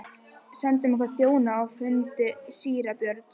Sendum okkar þjóna á fund síra Björns.